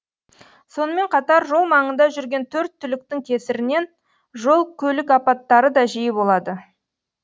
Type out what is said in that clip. сонымен қатар жол маңында жүрген төрт түліктің кесірінен жол көлік апаттары да жиі болады